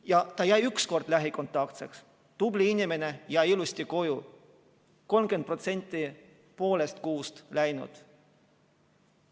Ja ta jäi ükskord lähikontaktseks – tubli inimene, jäi ilusti koju – 30% poole kuu läinud.